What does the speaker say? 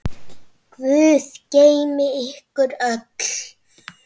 Guð geymi ykkur öll.